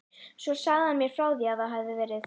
Svo sagði hann mér frá því að það hefði verið